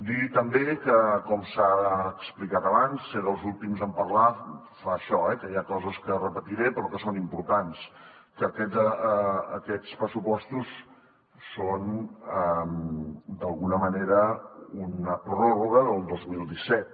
dir també com s’ha explicat abans ser dels últims en parlar fa això eh que hi ha coses que repetiré però que són importants que aquests pressupostos són d’alguna manera una pròrroga del dos mil disset